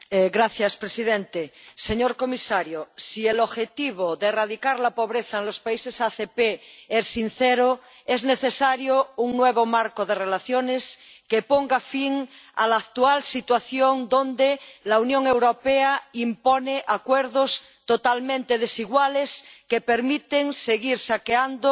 Señor presidente, señor comisario, si el objetivo de erradicar la pobreza en los países ACP es sincero, es necesario un nuevo marco de relaciones que ponga fin a la actual situación donde la Unión Europea impone acuerdos totalmente desiguales que permiten seguir saqueando